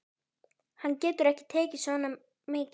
Hann getur ekki tekið svo mikið.